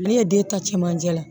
Ne ye den ta cɛmancɛ la